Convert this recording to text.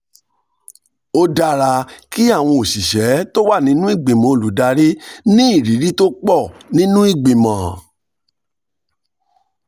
ó dára kí àwọn òṣìṣẹ́ tó wà nínú ìgbìmọ̀ olùdarí ní ìrírí tó pọ̀ nínú ìgbìmọ̀